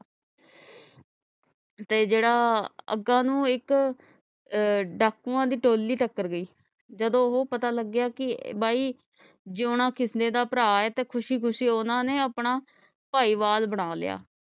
ਤੇ ਜੇਡਾ ਅਹ ਅਗਾ ਨੂੰ ਇਕ ਅਹ ਡਾਕੂਆਂ ਦੀ ਟੋਲੀ ਟੱਕਰ ਗਈ ਜਦੋ ਉਹ ਪਤਾ ਲਗਿਆ ਕਿ ਬਾਈ ਜਯੋਨਾ ਕਿਸਨੇ ਦਾ ਭਰਾ ਹੈ ਤੇ ਖੁਸ਼ੀ ਖੁਸ਼ੀ ਉਹਨਾਂ ਨੇ ਆਪਣਾ ਭਾਈਵਾਲ ਬਣਾ ਲਿਆ